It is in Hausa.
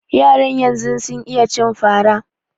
Yaran yanzu sun iya cin fara